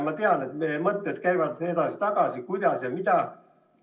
Ma tean, et mõtted käivad edasi-tagasi, kuidas ja mida.